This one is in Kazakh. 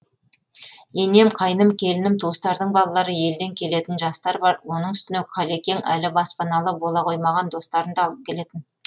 енем қайным келінім туыстардың балалары елден келетін жастар бар оның үстіне қалекең әлі баспаналы бола қоймаған достарын да алып келетін